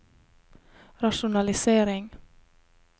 rasjonalisering